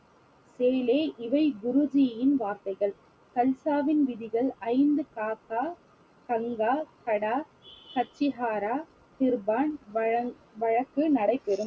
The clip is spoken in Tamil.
இவை குருஜியின் வார்த்தைகள் கல்சாவின் விதிகள் ஐந்து காக்கா கங்கா கடா கத்திஹாரா கிருபான் வழங்~ வழக்கு நடைபெறும்